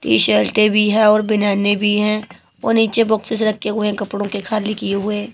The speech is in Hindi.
टी-शर्टें भी है और बनियाने भी हैं और नीचे बॉक्सेस रखे हुए हैं कपड़ों के खाली किए हुए।